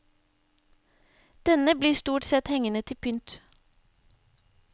Denne blir stort sett hengende til pynt.